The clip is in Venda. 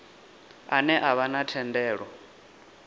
ane a vha na thendelo